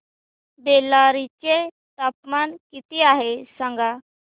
बेल्लारी चे तापमान किती आहे सांगा